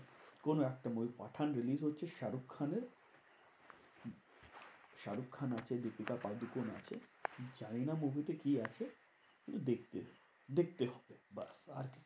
কোনো একটা movie Pathaan release হচ্ছে শাহরুখ খানের। শাহরুখ খান আছে, দীপিকা পাতুকণ আছে জানিনা movie তে কি আছে? দেখতে দেখতে ব্যাস আর কিছু না।